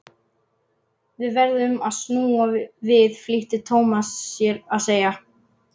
Við verðum að snúa við flýtti Thomas sér að segja.